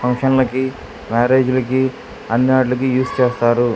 Function లకి marriage లకి అన్నిటికి యూస్ చేస్తారు.